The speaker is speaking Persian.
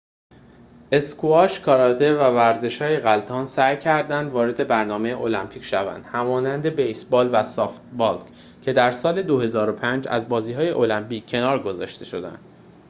اسکواش کاراته و ورزش‌های غلتان سعی کردند وارد برنامه المپیک شوند همانند بیس بال و سافت بالکه در سال ۲۰۰۵ از بازی های المپیک کنار گذاشته شدند